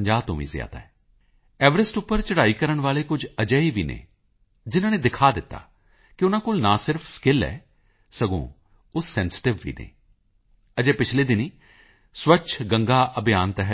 50 ਤੋਂ ਵੀ ਜ਼ਿਆਦਾ ਹੈ ਐਵਰੈਸਟ ਉੱਪਰ ਚੜ੍ਹਾਈ ਕਰਨ ਵਾਲੇ ਕੁਝ ਅਜਿਹੇ ਵੀ ਨੇ ਜਿਨਾਂ ਨੇ ਦਿਖਾ ਦਿੱਤਾ ਕਿ ਉਨ੍ਹਾਂ ਕੋਲ ਨਾ ਸਿਰਫ ਸਕਿੱਲ ਹੈ ਸਗੋਂ ਉਹ ਸੈਂਸਿਟਿਵ ਵੀ ਹਨ ਅਜੇ ਪਿਛਲੇ ਦਿਨੀਂ ਸਵੱਛ ਗੰਗਾ ਅਭਿਆਨ ਤਹਿਤ ਬੀ